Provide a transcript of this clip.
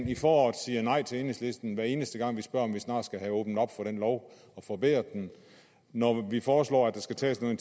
i foråret nej til enhedslisten hver eneste gang vi spørger om vi snart skal have åbnet op for den lov og forbedret den når vi foreslår at der skal tages noget